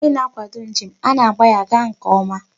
Onye na-akwado njem, a na-agba ya gaa nke ọma.